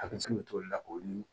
A bɛ se ka toli la olu